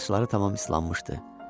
Saçları tamam ıslanmışdı.